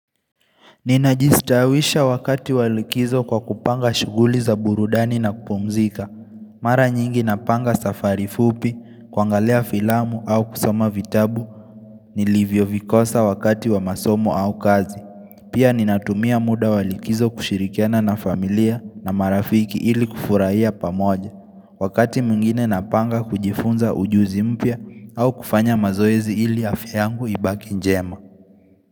Nina jistawisha wakati wa likizo kwa kupanga shughuli za burudani na kupumzika Mara nyingi napanga safari fupi, kuangalia filamu au kusoma vitabu, nilivyo vikosa wakati wa masomo au kazi Pia ninatumia muda wa likizo kushirikiana na familia na marafiki ili kufurahia pamoja Wakati mwingine napanga kujifunza ujuzi mpya au kufanya mazoezi ili afya yangu ibaki njema.